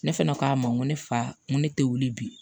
Ne fɛnɛ k'a ma n ko ne fa n ko ne tɛ wuli bi